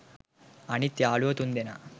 අනිත් යාලුවෝ තුන්දෙනා